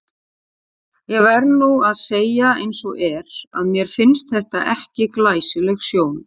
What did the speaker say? Ég verð nú að segja eins og er, að mér fannst þetta ekki glæsileg sjón.